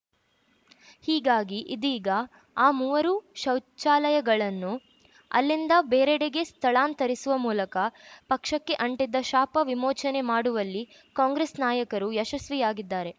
ಹೀಗಾಗಿ ಇದೀಗ ಆ ಮೂವರೂ ಶೌಚಾಲಯಗಳನ್ನು ಅಲ್ಲಿಂದ ಬೇರೆಡೆಗೆ ಸ್ಥಳಾಂತರಿಸುವ ಮೂಲಕ ಪಕ್ಷಕ್ಕೆ ಅಂಟಿದ್ದ ಶಾಪ ವಿಮೋಚನೆ ಮಾಡುವಲ್ಲಿ ಕಾಂಗ್ರೆಸ್‌ ನಾಯಕರು ಯಶಸ್ವಿಯಾಗಿದ್ದಾರೆ